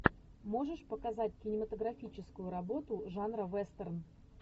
можешь показать кинематографическую работу жанра вестерн